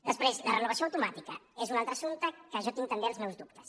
després la renovació automàtica és un altre assumpte en què jo tinc també els meus dubtes